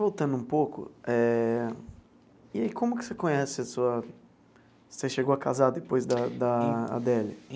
Voltando um pouco eh, e aí como que você conhece a sua... Você chegou a casar depois da da Adele?